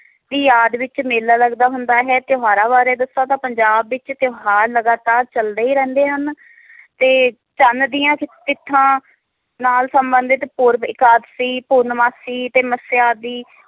ਦੀ ਆੜ ਵਿਚ ਮੇਲਾ ਲੱਗਦਾ ਹੁੰਦਾ ਹੈ ਤਿਓਹਾਰਾਂ ਬਾਰੇ ਦੱਸਾਂ ਤਾਂ ਪੰਜਾਬ ਵਿਚ ਤਿਓਹਾਰ ਲਗਾਤਾਰ ਚਲਦੇ ਹੀ ਰਹਿੰਦੇ ਹਨ ਤੇ ਚੰਨ ਦੀਆਂ ਚਿੱਠਾ ਨਾਲ ਸੰਬੰਧਿਤ ਪੂਰਵ ਇਕਾਦਸੀ ਪੁਰਨਮਾਸੀ ਤੇ ਮੱਸਿਆ ਆਦਿ